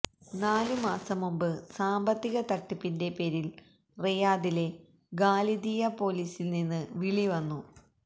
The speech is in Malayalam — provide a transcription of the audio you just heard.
നാലു മാസം മുമ്പ് സാമ്പത്തിക തട്ടിപ്പിന്റെ പേരിൽ റിയാദിലെ ഖാലിദിയ പോലീസിൽനിന്ന് വിളി വന്നു